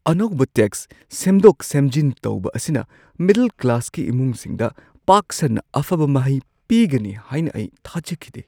ꯑꯅꯧꯕ ꯇꯦꯛꯁ ꯁꯦꯝꯗꯣꯛ-ꯁꯦꯝꯖꯤꯟ ꯇꯧꯕ ꯑꯁꯤꯅ ꯃꯤꯗꯜ ꯀ꯭ꯂꯥꯁꯀꯤ ꯏꯃꯨꯡꯁꯤꯡꯗ ꯄꯥꯛ ꯁꯟꯅ ꯑꯐꯕ ꯃꯍꯩ ꯄꯤꯒꯅꯤ ꯍꯥꯏꯅ ꯑꯩ ꯊꯥꯖꯈꯤꯗꯦ꯫